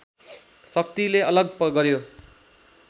शक्तिले अलग गर्‍यो